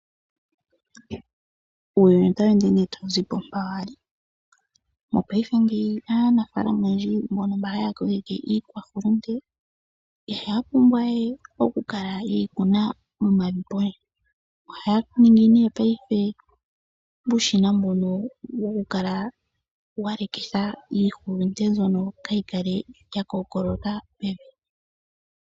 Uuyuni otawu ende twau zi po mpoka wa li. Mopaife ngeyi aanafaalama oyendji mbono haya kokeke iihulunde, ihaya pumbwa we okukala ye yi kuna momavi pondje. Ohaya ningi paife uushina mbono wokukala wa leka iihulunde mbyono kaayi kale ya kookoloka pevi.